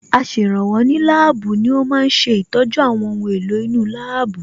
Aṣèrànwọ́ ní láàbù ni ó ma ń ṣe ìtọ́jú àwọn ohun èlò inú láàbù